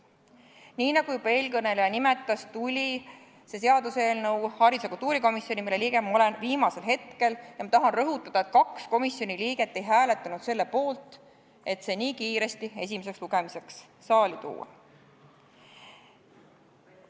Nii nagu juba eelkõneleja nimetas, tuli see seaduseelnõu kultuurikomisjoni, mille liige ma olen, viimasel hetkel ja ma tahan rõhutada, et kaks komisjoni liiget ei hääletanud selle poolt, et see nii kiiresti esimeseks lugemiseks saali tuua.